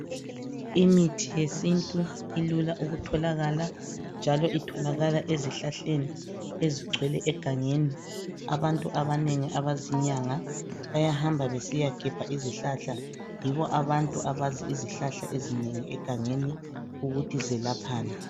Imithi yesintu ilula ukutholakala njalo itholakala ezihlahleni ezigcwele egangeni. Abantu abanengi abazinyanga bayahamba besiyagebha izihlahla yibo abantu abazi izihlahla ezinengi egangeni ukuthi zelaphani.